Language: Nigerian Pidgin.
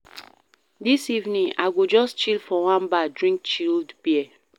Dis evening, I go just chill for one bar drink chilled beer.